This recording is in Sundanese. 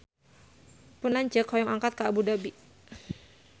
Pun lanceuk hoyong angkat ka Abu Dhabi